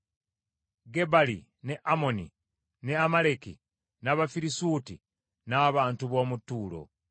Gebali ne Amoni, ne Amaleki, n’Abafirisuuti n’abantu b’omu Ttuulo.